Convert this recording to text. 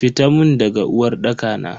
Fita mun daga uwarɗaka na.